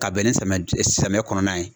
Ka bɛn ni samiyɛ samiyɛ kɔnɔna ye.